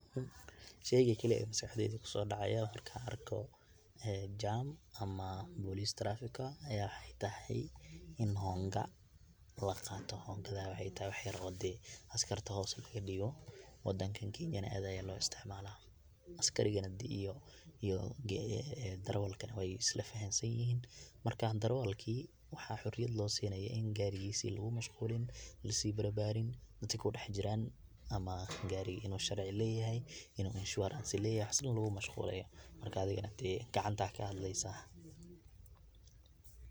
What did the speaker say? Sheyga kaliya ee maskaxdeyda kusodacaya markan wa jaam ama police traffic aya tahay in honga laqato, hongada wexey tahay wax yar oo askarta hoos logadibo wadankan kenyana aad aya logaisticmala askariga iyo derewalka wey islafahansanyihin marka derewalki waxa xoriyad losinaya in garigisi lugumashqulin, lasibarbarin dadka kudexjiran ama gariga iin uu sharci leyahay, in u insurance leyahay waxas dan lugumashqulin marka adigana dee gacanta ayad kahadleysa.